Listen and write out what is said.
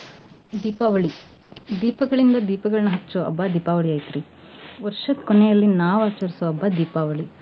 ದೀಪಾವಳಿ ದೀಪಗಳಿಂದ ದೀಪಗಳನ್ನ ಹಚ್ಚೊ ಹಬ್ಬ ದೀಪಾವಳಿ ಐತ್ರೀ. ವರ್ಷದ್ ಕೊನೆಯಲ್ಲಿ ನಾವ್ ಆಚರ್ಸೊ ಹಬ್ಬ ದೀಪಾವಳಿ.